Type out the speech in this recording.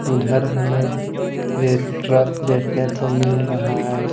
उधर हमें red truck देखने को मिल रहा हैं।